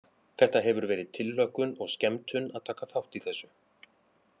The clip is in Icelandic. Þetta hefur verið tilhlökkun og skemmtun að taka þátt í þessu.